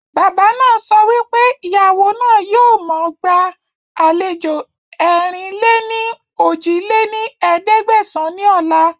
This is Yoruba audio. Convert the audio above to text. Bàbá náà so wípé Ìyàwó náà yìí ó mọ gba àlejò ẹ̀rin-lé-ní-ojì lé ní ẹ̀ẹ́dẹ́gbẹ́sán ni ọ̀la